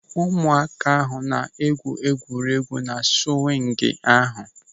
Ụmụaka ahụ na-egwu egwuregwu na swịngị ahụ.